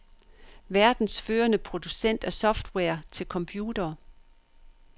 Verdens førende producent af software til computere.